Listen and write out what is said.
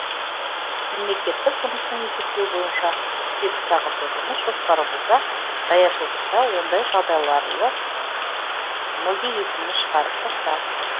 мемлекеттік жұмыстың есептеуі бойынша сегіз сағатты жұмыс жоспары болса даяшылықта ондай жағдайларлы мүлде есіңнен шығарып таста